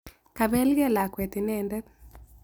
Kabeelgey lakwet ineentet